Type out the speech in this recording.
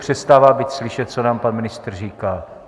Přestává být slyšet, co nám pan ministr říká.